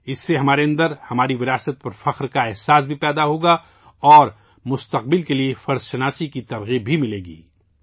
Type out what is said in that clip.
یہ ہمارے اندر اپنے ورثے پر فخر کا احساس بھی پیدا کرے گا اور ہمیں مستقبل کے لیے اپنے فرائض ادا کرنے کی ترغیب بھی دے گا